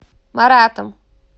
маратом